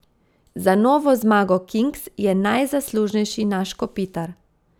Za novo zmago Kings je najzaslužnejši naš Kopitar.